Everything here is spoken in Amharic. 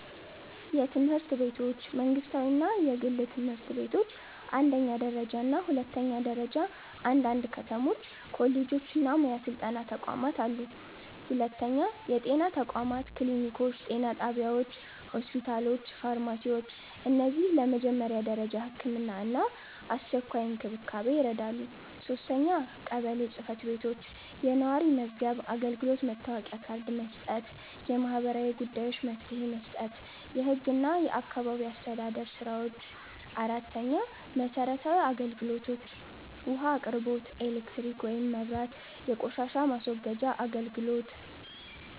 የትምህርት ቤቶች መንግስታዊ እና የግል ትምህርት ቤቶች አንደኛ ደረጃ እና ሁለተኛ ደረጃ አንዳንድ ከተሞች ኮሌጆች እና ሙያ ስልጠና ተቋማት አሉ 2. የጤና ተቋማት ክሊኒኮች ጤና ጣቢያዎች ሆስፒታሎች ፋርማሲዎች እነዚህ ለመጀመሪያ ደረጃ ሕክምና እና አስቸኳይ እንክብካቤ ይረዳሉ 3. ቀበሌ ጽ/ቤቶች የነዋሪ መዝገብ አገልግሎት መታወቂያ ካርድ መስጠት የማህበራዊ ጉዳዮች መፍትሄ መስጠት የህግ እና የአካባቢ አስተዳደር ስራዎች 4. መሰረታዊ አገልግሎቶች ውሃ አቅርቦት ኤሌክትሪክ (መብራት) የቆሻሻ ማስወገጃ አገልግሎት